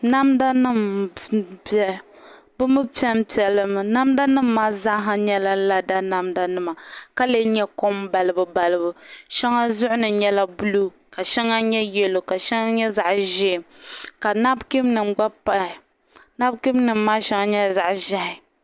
B Namda nim n biɛni bi mii piɛnpiɛ limi namda nim maa zaa nyɛla lada namda nima ka lee nyɛ kom balibu balibu shɛŋa zuɣu ni nyɛla buluu ka shɛŋa nyɛ yɛlo ka shɛŋa nyɛ zaɣ ʒiɛ ka nabkiin nim gba pahi nabkiin nim maa shɛŋa nyɛla zaɣ ʒiɛhi